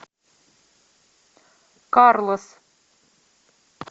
карлос